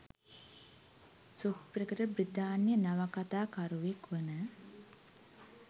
සුප්‍රකට බ්‍රිතාන්‍ය නවකථා කරුවෙක් වන.